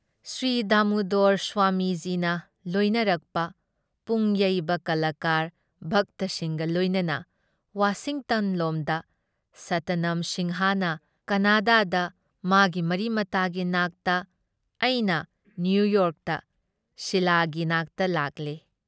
ꯁ꯭ꯔꯤꯗꯥꯃꯨꯗꯣꯔ ꯁ꯭ꯋꯥꯃꯤꯖꯤꯅ ꯂꯣꯏꯅꯔꯛꯄ ꯄꯨꯡꯌꯩꯕ ꯀꯂꯥꯀꯥꯔ, ꯚꯛꯇꯁꯤꯡꯒ ꯂꯣꯏꯅꯅ ꯋꯥꯁꯤꯡꯇꯟ ꯂꯣꯝꯗ, ꯁꯇꯅꯝ ꯁꯤꯡꯍꯅ ꯀꯥꯅꯥꯗꯥꯗ ꯃꯥꯒꯤ ꯃꯔꯤꯃꯇꯥꯒꯤ ꯅꯥꯛꯇ, ꯑꯩꯅ ꯅꯤꯌꯨꯌꯣꯔꯛꯇ ꯁꯤꯂꯥꯒꯤ ꯅꯥꯛꯇ ꯂꯥꯛꯂꯦ ꯫